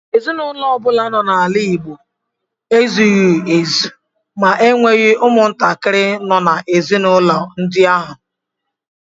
Ezinụlọ ọbụla nọ n’ala Igbo ezughị ezu ma enweghị umuntakiri nọ n’ezinaụlọ ndi ahu.